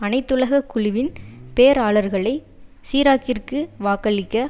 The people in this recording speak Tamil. அனைத்துலக குழுவின் பேராளர்களை சிராக்கிற்கு வாக்களிக்க